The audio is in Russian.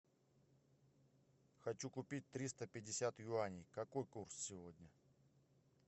хочу купить триста пятьдесят юаней какой курс сегодня